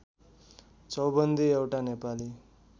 चौबन्दी एउटा नेपाली